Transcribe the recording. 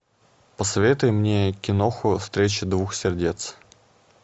посоветуй мне киноху встреча двух сердец